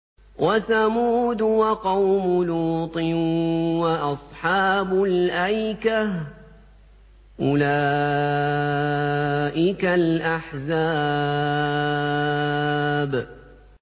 وَثَمُودُ وَقَوْمُ لُوطٍ وَأَصْحَابُ الْأَيْكَةِ ۚ أُولَٰئِكَ الْأَحْزَابُ